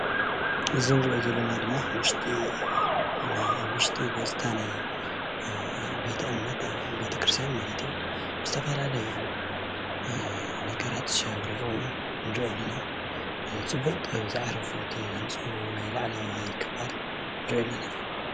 እዚ እንሪኦ ዘለና ድማ ኣብ ውሽጢ ገፅታ ናይ ኣብ ቤተ እምነት ኣብ ቤተክርትያን ማለት እዩ፡፡ ዝተፈላለዩ ነገራት ሽዓ ሸብሪቁ ንሪኦ አለና፡፡ ፅቡቅ ጥበብ ዝዓረፎ እቲ ናይ ላዕለዋይ ክፋል ንሪኦ ኣለና፡፡